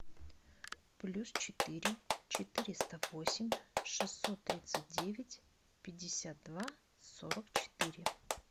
плюс четыре четыреста восемь шестьсот тридцать девять пятьдесят два сорок четыре